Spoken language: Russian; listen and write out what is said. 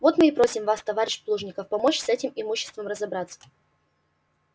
вот мы и просим вас товарищ плужников помочь с этим имуществом разобраться